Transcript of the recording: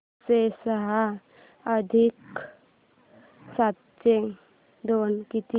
पाचशे सहा अधिक सातशे दोन किती